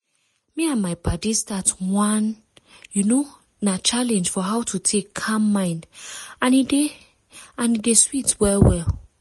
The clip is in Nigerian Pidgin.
me and my paddies start one you know na challenge for how to take calm mind and e dey and e dey sweet well well.